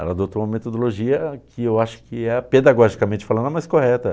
Ela adotou uma metodologia que eu acho que é a pedagogicamente falando a mais correta.